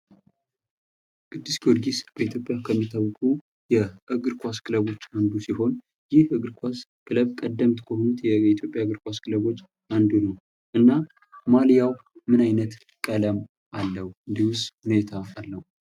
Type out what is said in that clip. ቅዱስ ጊዮርጊስ በኢትዮጵያ ከሚታወቁ የእግር ኳስ ክለቦች አንዱ ሲሆን ግንባር ቀደም ከሆኑት የኢትዮጵያ የእግር ኳስ ክለቦች አንዱ ነው። እና ማሊያው ምን አይነት ቀለም አለው እንዲሁስ ምን አይነት አርማ አለው?